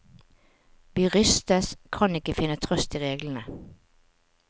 Vi rystes, kan ikke finne trøst i reglene.